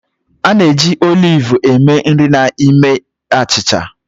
A na-eji oliv eme nri na ime achịcha.